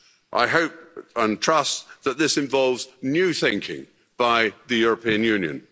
I hope and trust that this involves new thinking by the European Union.